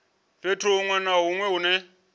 fhethu hunwe na hunwe hune